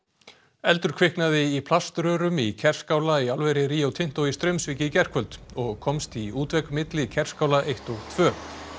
eldur kviknaði í plaströrum í Kerskála í álveri Rio Tinto í Straumsvík í gærkvöld og komst í útvegg milli Kerskála eitt og tvö